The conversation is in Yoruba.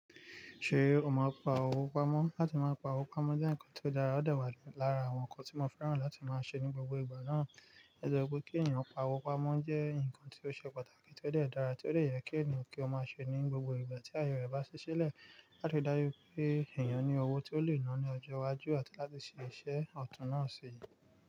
Ṣé o máa ń pa owó pamọ́? Látí máa ń pa owó pamọ́ jẹ́ ǹkan tó dára, ó dà wá lára àwọn ǹkan tí mo fẹ́ràn láti máa ṣe ní gbogbo ìgbà náà. Ẹ̀ de wo pé kí ènìyàn pa owó pamọ́ jẹ́ ǹkan tí ó ṣe pàtàkì, tí ó de dàra, tí ó de yẹ kí ènìyàn kí ó máa ṣe ní gbogbo ìgbà tí aye rẹ̀ bá ṣiṣẹ́ lẹ̀ láti dáju pé ènìyàn ní owó tí ó lè ná ní ọjọ́ iwájú àti láti ṣe iṣẹ́ ọ̀tún náà síyi.